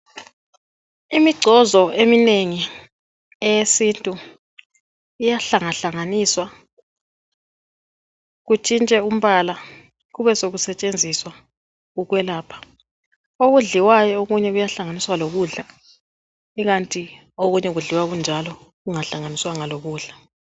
Imigcozo eminengi eyesintu iyahlangahlanganiswa kutshintshwe umbala kube sekusetshenziswa ukwelapha. Okudliwayo okunye kuyahlanganiswa lokudla ikanti okunye kudliwa kunjalo kungahlanganiswanga lokudla.